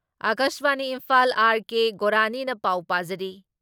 ꯑꯀꯥꯁꯕꯥꯅꯤ Imphal R K. ꯒꯣꯔꯥꯅꯤꯅ ꯄꯥꯎ ꯄꯥꯖꯔꯤ